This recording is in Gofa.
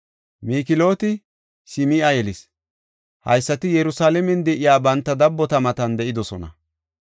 Miklooti Sim7a yelis. Haysati Yerusalaamen de7iya banta dabbota matan de7idosona.